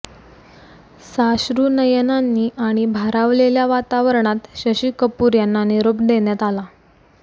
साश्रु नयनांनी आणि भारावलेल्या वातावरणात शशी कपूर यांना निरोप देण्यात आला